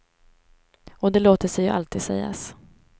Och det låter sig ju alltid sägas.